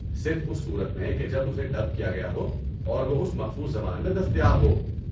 صرف اس صورت میں کہ جب اسے ڈب کیا گیا ہو اور وہ اس مخصوص زبان میں دستیاب ہو۔